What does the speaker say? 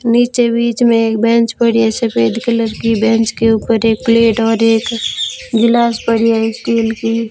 नीचे बीच में एक बेंच पड़ी है सफेद कलर की बेंच के ऊपर एक प्लेट और एक गिलास पड़ी है स्टील की।